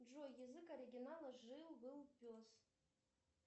джой язык оригинала жил был пес